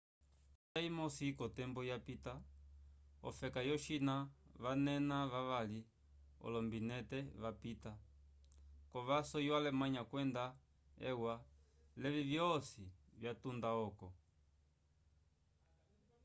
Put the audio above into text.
konjanja imosi kotembo yapita ofeka yo china vanena vali olombinente vapita kovaso yo alemanya kwenda e u a levi vyosi vyatunda oko